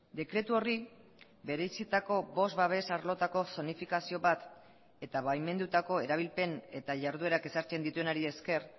dekretu horri berezitako bost babes arlotako zonifikazio bat eta baimendutako erabilpen eta jarduerak ezartzen dituenari esker